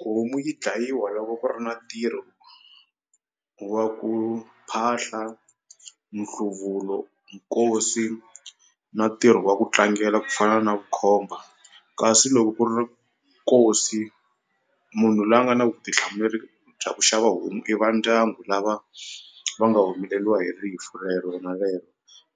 Homu yi dlayiwa loko ku ri na ntirho wa ku phahla nhluvulo nkosi na ntirho wa ku tlangela ku fana na vukhomba kasi loko ku ri nkosi munhu loyi a nga na vutihlamuleri bya ku xava homu i va ndyangu lava va nga humeleliwa hi rifu rero na rero